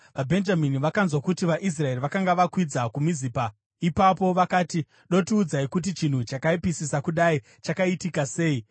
(VaBhenjamini vakanzwa kuti vaIsraeri vakanga vakwidza kuMizipa.) Ipapo vakati, “Dotiudzai kuti chinhu chakaipisisa kudai chakaitika sei?”